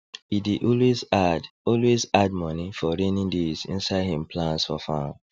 e dey always add always add money for raining days inside him plans for farm